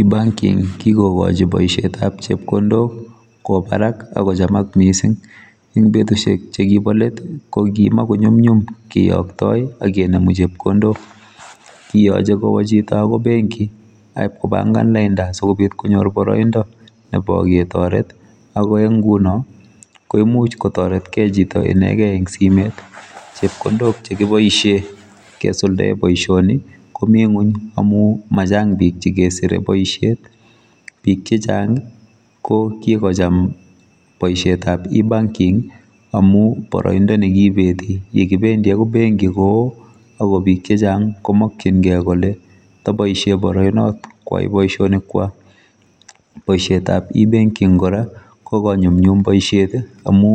E-banking kikokochi boisietab chepkondok kwobarak akochamak mising ing betusiek chekobo let kokimokunyomnyum kiyokyoktoi akenemu chepkondok kiyoche kwa chito akoi benki akipkopangan lainda asikobit konyor boroindo nebo ketoret ako eng nguno komuch kotoret kei chito inekei eng simet chepkondok chekiboisie kesuldae boisioni komi ngony amu machang bik chekesire boisiet bik chechnang kokikocham boisietab E-banking amu boroindo nekibeti kebendi akoi benki koo akobik chechang komokyingei kole toboisie boroinot koai boisionikwak boisietab e-banking kora kokonyumnyum boisiet amu